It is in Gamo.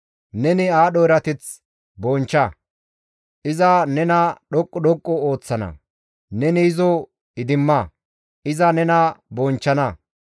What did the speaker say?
Neni aadho erateth bonchcha; iza nena dhoqqu dhoqqu ooththana; neni izo idimma; iza nena bonchchana.